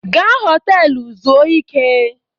Gaa họtelụ zuo ike!